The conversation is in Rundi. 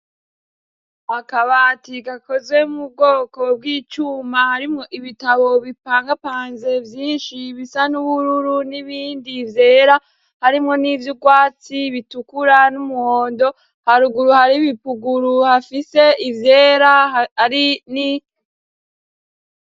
Akabati gakozwe mu bwoko bwIcuma harimWo ibitabo bipangapanze Vyinshi bisa n'ubururu n'ibindi vyera harimwo nivyo urwatsi, bitukura n'umuhondo haruguru hari ibipuguru hafise ivyera hari ni.